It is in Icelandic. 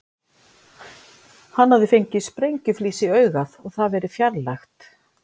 Hann hafði fengið sprengjuflís í augað og það verið fjarlægt.